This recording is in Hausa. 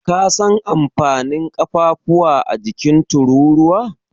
Ka san amfanin ƙafafuwa a jikin Tururuwa?